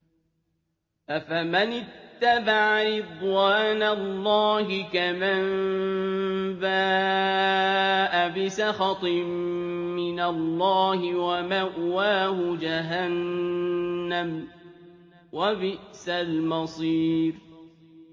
أَفَمَنِ اتَّبَعَ رِضْوَانَ اللَّهِ كَمَن بَاءَ بِسَخَطٍ مِّنَ اللَّهِ وَمَأْوَاهُ جَهَنَّمُ ۚ وَبِئْسَ الْمَصِيرُ